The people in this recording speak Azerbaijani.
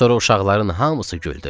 Sonra uşaqların hamısı güldü.